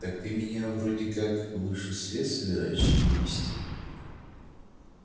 так ты меня вроде как в высший свет собираешься вывести